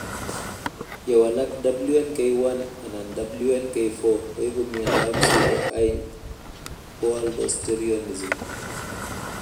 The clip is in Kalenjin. Ye walak WNK1 anan WNK4 koipu miondop pseudohypoaldosteronism